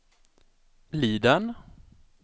Liden